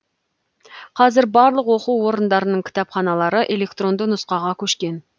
қазір барлық оқу орындарының кітапханалары электронды нұсқаға көшкен